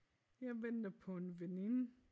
Jeg venter på en veninde